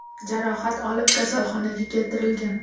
jarohat olib, kasalxonaga keltirilgan.